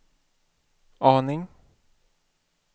aning